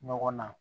Ɲɔgɔn na